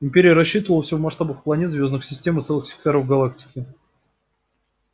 империя рассчитывала все в масштабах планет звёздных систем и целых секторов галактики